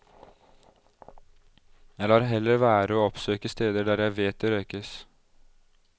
Jeg lar heller være å oppsøke steder der jeg vet det røykes.